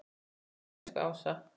Takk fyrir mig, elsku Ása.